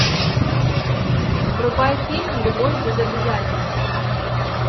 врубай фильм любовь без обязательств